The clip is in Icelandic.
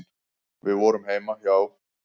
Við vorum heima hjá